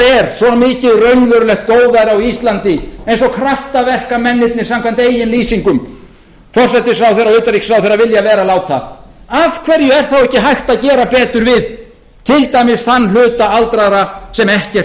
er svo mikið raunverulegt góðæri á íslandi eins og kraftaverkamennirnir samkvæmt eigin lýsingum forsætisráðherra og utanríkisráðherra vilja vera láta af hverju er þá ekki hægt að gera betur við til dæmis þann hluta aldraðra sem ekkert